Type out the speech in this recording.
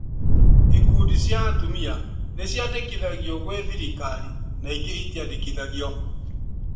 Ikundi cia atumia nĩciandĩkithagio gwĩ thirikari na ingĩ itiandĩkithagio